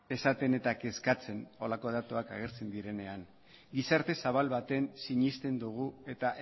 esaten eta kezkatzen horrelako datuak agertzen direnean gizarte zabal batean sinesten dugu eta